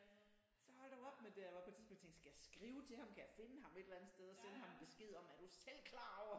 Så hold dog op med det og der var på tidspunkt jeg tænkte skal jeg skrive til ham kan jeg finde ham et eller andet sted og sende ham besked om er du selv klar over